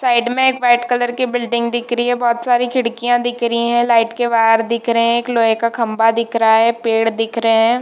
Side में एक white colour की बिल्डिंग दिख रही है बहुत ही सारी खिड़कियां दिख रही है लाईट के वायर दिख रहे है एक लोहे का खंबा दिख रहा है पेड़ दिख रहे है।